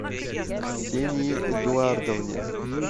ксении эдуардовне